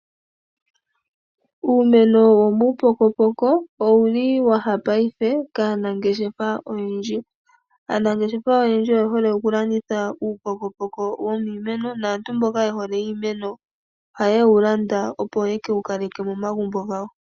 Uumeno wo muupokopoko owu li wa ya paife kaanangeshefa oyendji. Aanangeshefa oyendji oye hole okulanditha uupokopoko wiimeno, naa tu mboka ye hole iimeno ohaye wu landa opo ye ke wu kaleke momagumbo gawo.